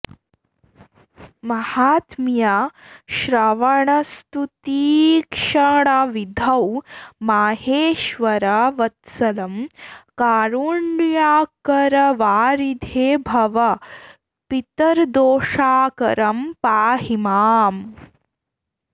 माहात्म्य श्रवणस्तुतीक्षणविधौ माहेश्वरा वत्सलं कारुण्याकरवारिधे भव पितर्दोषाकरं पाहि माम्